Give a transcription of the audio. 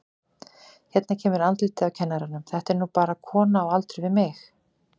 Hérna kemur andlitið á kennaranum, þetta er nú bara kona á aldur við mig.